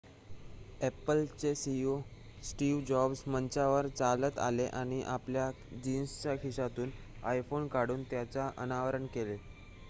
Apple CEO Steve Jobs मंचावर चालत आले आणि आपल्या जिन्सच्या खिशातून आयफोन काढून त्याचे अनावरण केले